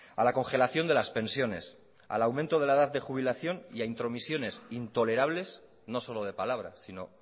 a la congelación de las pensiones al aumento de la edad de jubilación y a intromisiones intolerables no solo de palabra sino